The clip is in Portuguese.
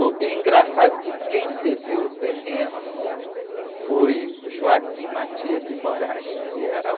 E engraçado que quem cedeu o terreno foi, que era o...